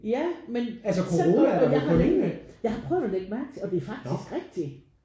Ja men sådan jeg har længe jeg har prøvet at ligge mærke til det og det er faktisk rigtig